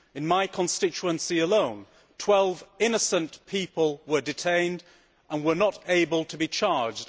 In my constituency alone, 12 innocent people were detained and were not able to be charged.